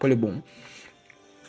по-любому